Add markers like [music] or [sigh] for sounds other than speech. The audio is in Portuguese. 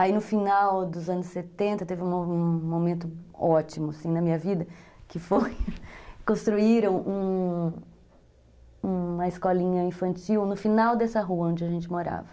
Aí no final dos anos setenta, teve um momento ótimo assim na minha vida, que foi [laughs] construíram uma uma escolinha infantil no final dessa rua onde a gente morava.